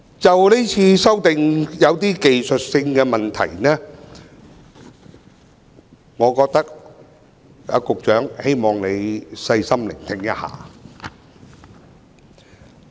就今次的修正案，我有些技術性的問題，希望局長可以細心聆聽我的發言。